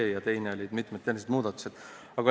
Teiseks on siin veel mitmeid tehnilisi muudatusi.